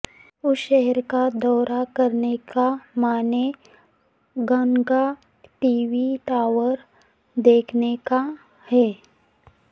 اس شہر کا دورہ کرنے کا معنی گانگا ٹی وی ٹاور دیکھنے کا ہے